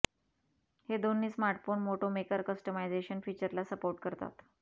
हे दोन्ही smartphone Moto maker customisation फीचरला सपोर्ट करतात